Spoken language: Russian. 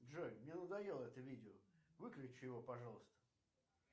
джой мне надоело это видео выключи его пожалуйста